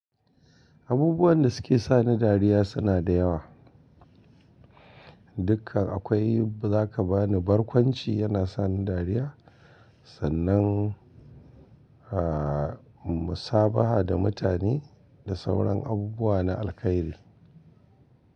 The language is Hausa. Abubuwan da suke sani dariya suna da yawa. Dukkan akwai za ka bani barkwanci yana sani dariya, sannan, ah, musabaha da mutane da sauran abubuwa na alkairi.